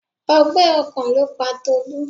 Ọgbẹ́ ọkàn ló pa Tolu.